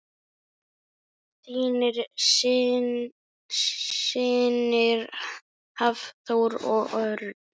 Þínir synir Hafþór og Örn.